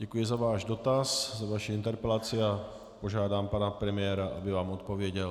Děkuji za váš dotaz, za vaši interpelaci, a požádám pana premiéra, aby vám odpověděl.